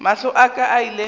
mahlo a ka a ile